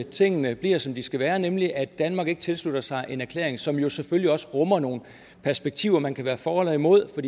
tingene bliver som de skal være nemlig at danmark ikke tilslutter sig en erklæring som jo selvfølgelig også rummer nogle perspektiver man kan være for eller imod det